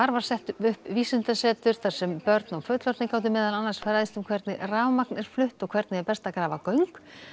var sett upp vísindasetur þar sem börn og fullorðnir gátu meðal annars fræðst um hvernig rafmagn er flutt og hvernig er best að grafa göng